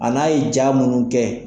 A n'a ye ja minnu kɛ.